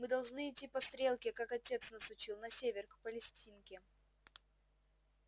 мы должны идти по стрелке как отец нас учил на север к палестинке